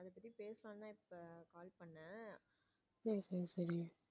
சரி சரி சரி.